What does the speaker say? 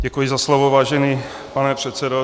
Děkuji za slovo, vážený pane předsedo.